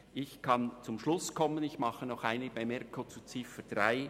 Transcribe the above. Ich mache noch eine Bemerkung zur Ziffer 3.